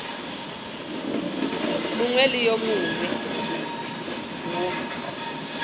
mongwe le wo mongwe wo